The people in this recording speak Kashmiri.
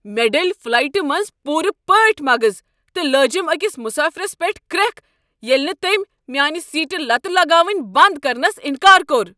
مےٚ ڈٔلۍ فلایٹہ منٛز پوٗرٕ پٲٹھۍ مغز تہٕ لٲجم أکس مسٲفرس پیٹھ کرٛیکھ ییٚلہ نہٕ تٔمۍ میانیہ سیٹہِ لتہٕ لگاونہ بند کرنس انکار کوٚر۔